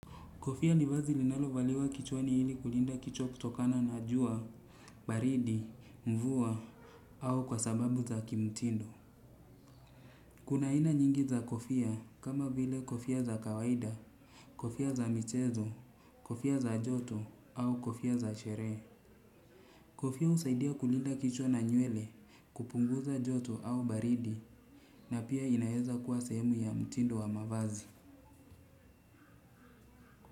Kofia ni vazi linalovaliwa kichwani hili kulinda kichwa kutokana na jua, baridi, mvua, au kwa sababu za kimtindo. Kuna ina nyingi za kofia kama vile kofia za kawaida, kofia za michezo, kofia za joto, au kofia za sheree. Kofia usaidia kulinda kichwa na nywele, kupunguza joto au baridi, na pia inaeza kuwa sehemu ya mtindo wa mavazi.